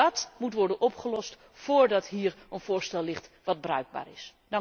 Dàt moet worden opgelost voordat hier een voorstel ligt dat bruikbaar is.